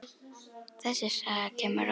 Þessi saga kemur á óvart.